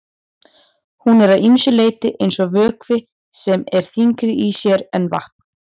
Hún er að ýmsu leyti eins og vökvi sem er þyngri í sér en vatn.